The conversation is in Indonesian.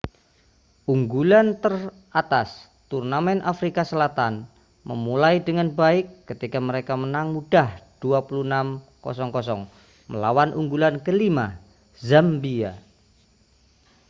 unggulan teratas turnamen afrika selatan memulai dengan baik ketika mereka menang mudah 26 00 melawan unggulan ke-5 zambia